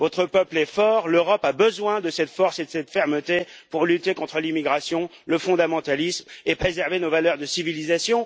votre peuple est fort, et l'Europe a besoin de cette force et de cette fermeté pour lutter contre l'immigration, le fondamentalisme et préserver nos valeurs de civilisation.